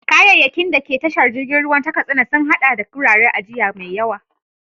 Kayayyakin da ke tashar jirgin ruwa ta Katsina sun haɗa da wuraren ajiya mai yawa.